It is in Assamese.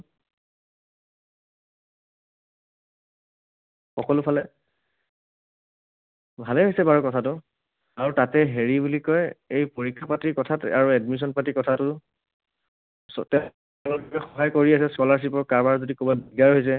সকলোফালে। ভালেই হৈছে বাৰু কথাটো। আৰু তাতে হেৰি বুলি কয়, এই পৰীক্ষা পাতিৰ কথাটো আৰু admission পাতিৰ কথাটো সহায় কৰি আছে। Scholarship ৰ কাৰবাৰ যদি কিবা দিগদাৰ হৈছে